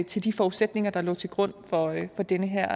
til de forudsætninger der oprindelig lå til grund for den her